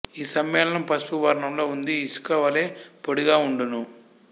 ఈ సమ్మేళనం పసుపు వర్ణంలో ఉంది ఇసుక వలె పొడిగా ఉండును